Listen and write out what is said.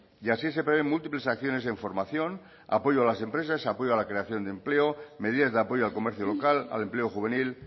y así se prevén múltiples acciones en formación apoyo a las empresas apoyo a la creación de empleo medidas de apoyo al comercio local al empleo juvenil